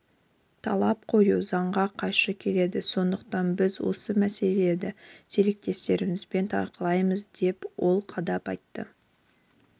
талап қою заңға қайшы келеді сондықтан біз осы мәселелерді серіктестерімізбен талқылаймыз деп ол қадап айтты